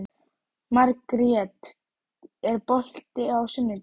Margrjet, er bolti á sunnudaginn?